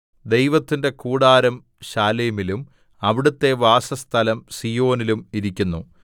ദൈവത്തിന്റെ കൂടാരം ശാലേമിലും അവിടുത്തെ വാസസ്ഥലം സീയോനിലും ഇരിക്കുന്നു